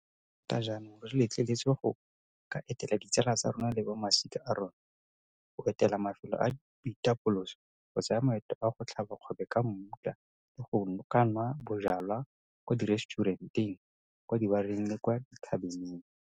Le fa tota jaanong re letleletswe go ka etela ditsala tsa rona le ba masika a rona, go etela mafelo a boitapoloso, go tsaya maeto a go tlhaba kgobe ka mmutla le go ka nwa bojalwa kwa direstšurenteng, kwa dibareng le kwa dithabeneng.